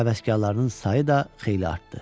Papaq həvəskarlarının sayı da xeyli artdı.